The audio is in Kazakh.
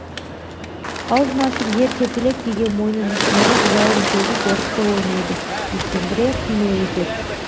аузын ашып жер тепкілеп кейде мойнын ішіне алып жалын төгіп ортқи ойнайды сескендіре қимыл етеді